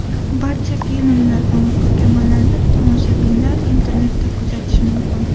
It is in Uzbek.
Barcha filmlar va muhokamalarni tomoshabinlar internetda kuzatishi mumkin.